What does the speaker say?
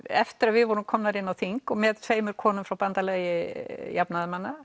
eftir að við vorum komnar inn á þing með tveimur konum frá Bandalagi